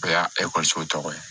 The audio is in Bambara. O y'a ekɔliso tɔgɔ ye